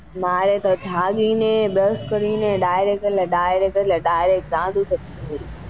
મારે તો જાગી ને brush કરી ને direct એટલે direct direct ચા દૂધ જોઈએ.